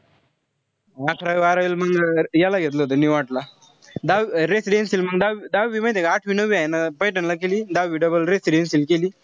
अकरावी-बारावीला मंग याला घेतलं होत ला. द residentional मंग दहावी दहावीला माहित्ये का, आठवी-नववी हाये ना पैठणला केली. दहावी double residentional केली.